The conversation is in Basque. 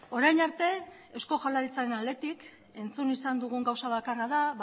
orain arte eusko jaurlaritzaren aldetik entzun izan dugun gauza bakarra da